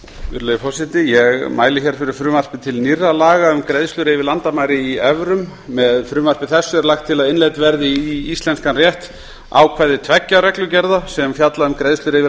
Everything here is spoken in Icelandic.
virðulegi forseti ég mæli fyrir frumvarpi til nýrra laga um greiðslur yfir landamæri í evrum með frumvarpi þessu er lagt til að innleidd verði í íslenskan rétt ákvæði tveggja reglugerða sem fjalla um greiðslur yfir